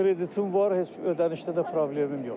Kreditim var, heç bir ödənişdə də problemim yoxdur.